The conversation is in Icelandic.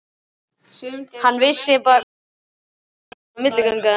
Hann vissi hvað til stóð og var einskonar milligöngumaður.